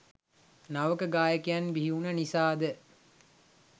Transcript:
නවක ගායකයන් බිහිවුණ නිසාද?